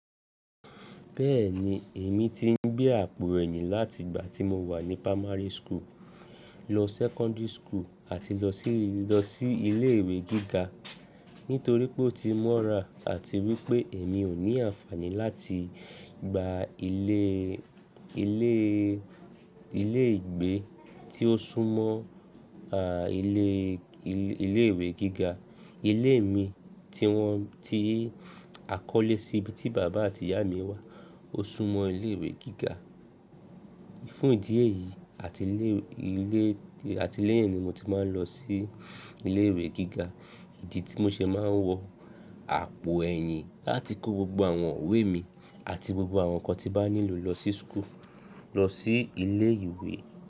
Bẹ́ẹ̀ni èmi ti ń gbé àpò ẹ̀yìn láti ìgbà tí mo wà ní primary school, lọ secondary school àti lọ sí, lọ sí ilé ìwé gíga. Nítorí pé ó ti mọ́ra àti wípé èmi ò ní àǹfàní láti gba ilé, ilé, ilé ìgbé tí ó sún mọ́ a ilé, ilé ìwé gíga. Ilé mi tí wọ́n, tí à kọ́lé sí ibi tí bàbá àti ìyá mi wà ó sún mọ́ ilé ìwé gíga. Fún ìdí èyí, ati ilè iwe mo ti máa n lo sí ilè ìwé giga, ìdí ti mo se máa n wo àpò ẹ̀yìn láti kó gbogbo àwọn iwe mi àti gbogbo àwọn ǹkan tí bá nílò lọ sí school, lọ sí ilé ìwé.